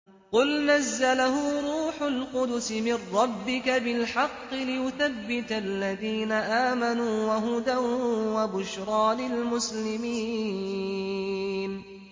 قُلْ نَزَّلَهُ رُوحُ الْقُدُسِ مِن رَّبِّكَ بِالْحَقِّ لِيُثَبِّتَ الَّذِينَ آمَنُوا وَهُدًى وَبُشْرَىٰ لِلْمُسْلِمِينَ